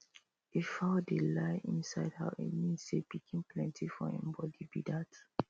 if fowl dey lay inside house e mean say pikin plenty for hin body be dat